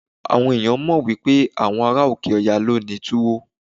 Àwọn ẹ̀yàn mọ̀ wípé àwọn ará òkè Ọya ló ní Túwó.